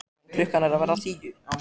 Já en. klukkan er að verða tíu!